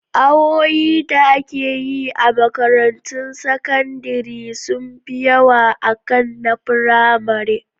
Awoyi da ake yi a makarantun sakandire sun fi yawa akan na firamare